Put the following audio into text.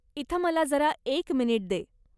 इथं मला जरा एक मिनिट दे.